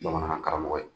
Bamanankan karamɔgɔ ye